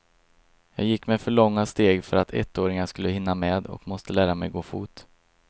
Jag gick med för långa steg för att ettåringar skulle kunna hinna med och måste lära mig gå fot.